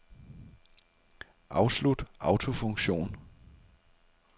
Afslut autofunktion.